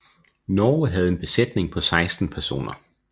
Norge havde en besætning på 16 personer